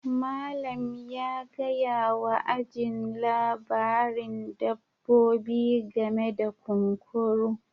Malam ya gaya wa ajin labarin dabbobi game da kunkuru